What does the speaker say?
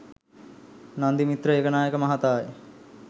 Nandimithra Ekanayake මහතායි.